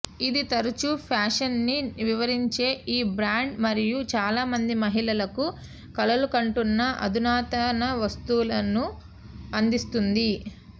ఇది తరచూ ఫ్యాషన్ని వివరించే ఈ బ్రాండ్ మరియు చాలామంది మహిళలకు కలలుకంటున్న అధునాతన వస్తువులను అందిస్తుంది